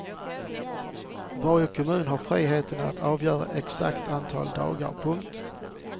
Varje kommun har frihet att avgöra exakt antal dagar. punkt